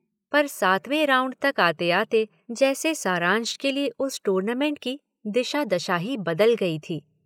पर सातवें राउंड तक आते-आते जैसे सारांश के लिए उस टूर्नामेंट की दिशा-दशा ही बदल गई थी।